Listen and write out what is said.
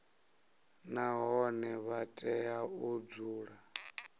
nahone vha tea u dzula